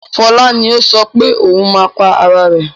Fọlá ni ó sọ pé ohun máa pa ara rẹ̀.